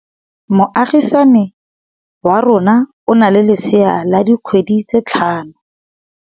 Moagisane wa rona o na le lesea la dikgwedi tse tlhano.